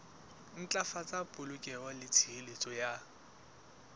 ntlafatsa polokeho le tshireletso ya